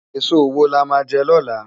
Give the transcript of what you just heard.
Esó wó lá má jè lòlá?